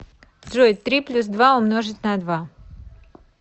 джой три плюс два умножить на два